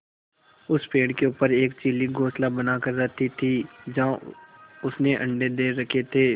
उस पेड़ के ऊपर एक चील घोंसला बनाकर रहती थी जहाँ उसने अंडे दे रखे थे